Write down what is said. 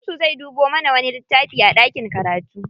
Shamsu zai dubo mana wani littafi a ɗakin karatu.